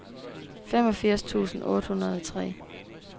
femogfirs tusind otte hundrede og tre